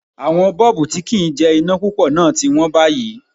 Àwọn Bọ́ọ̀bú tí kì ń jẹ iná púpọ̀ náà ti wón báyìí.